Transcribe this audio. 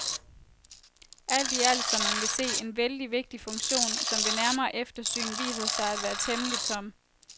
Alt i alt, som man vil se, en vældig vigtig funktion, som ved nærmere eftersyn viser sig at være temmelig tom.